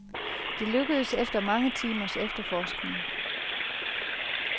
Det lykkedes efter mange timers efterforskning.